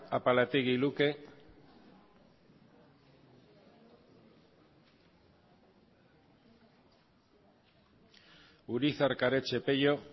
apalategi luke urizar karetxe pello